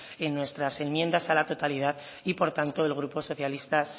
en nuestras enmiendas a la totalidad y por tanto el grupo socialista